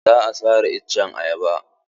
Za a sare iccen ayaban.